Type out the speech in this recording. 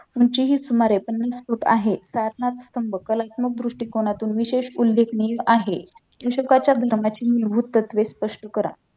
उंचीही सुमारे पन्नास फूट आहे प्रार्थना स्तंभ कलात्मक दृष्टीकोनातून विशेष उल्लेखनीय आहे अशोकच्या धर्माची मूलभूत तत्वे स्पष्ट करा